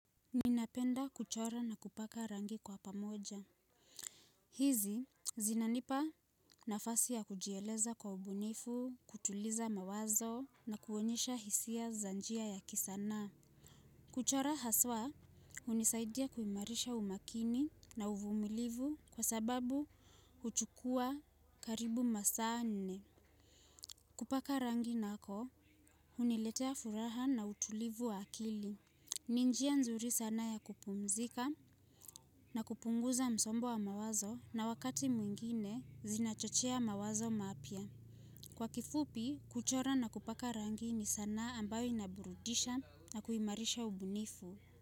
Ninapenda kuchora na kupaka rangi kwa pamoja hizi zinanipa nafasi ya kujieleza kwa ubunifu, kutuliza mawazo na kuonyesha hisia za njia ya kisanaa kuchora haswa hunisaidia kuimarisha umakini na uvumilivu kwa sababi huchukuwa karibu masaa manne. Kupaka rangi nako huniletea furaha na utulivu wa akili. Ni njia nzuri sana ya kupumzika na kupunguza msongo wa mawazo na wakati mwingine zinachochea mawazo mapya. Kwa kifupi, kuchora na kupaka rangi ni sanaa ambayo inaburudisha na kuimarisha ubunifu.